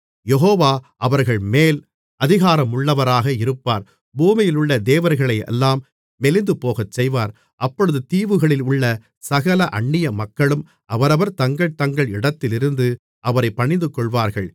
யெகோவா அவர்கள்மேல் அதிகாரமுள்ளவராக இருப்பார் பூமியிலுள்ள தேவர்களையெல்லாம் மெலிந்துபோகச்செய்வார் அப்பொழுது தீவுகளிலுள்ள சகல அன்னியமக்களும் அவரவர் தங்கள் தங்கள் இடத்திலிருந்து அவரைப் பணிந்துகொள்வார்கள்